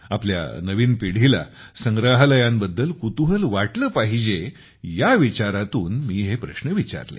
आपल्या नवीन पिढीला संग्रहालयांबद्दल कुतूहल वाटले पाहिजे या विचारातून मी हे प्रश्न विचारले